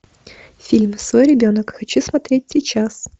фильм свой ребенок хочу смотреть сейчас